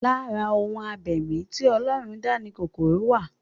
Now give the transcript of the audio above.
Lára ohun abẹ̀mí tí Ọlọ́run dá ni kòkòrò wà